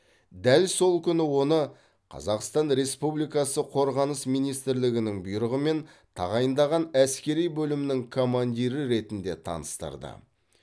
дәл сол күні оны қазақстан республикасы қорғаныс министрлігінің бұйрығымен тағайындаған әскери бөлімнің командирі ретінде таныстырды